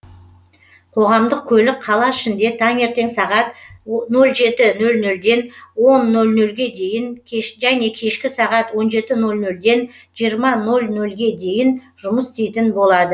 қоғамдық көлік қала ішінде таңертең сағат нөл жеті нөл нөлден он нөл нөлге дейін және кешке сағат он жеті нөл нөлден сегіз нөл нөлге дейін жұмыс істейтін болады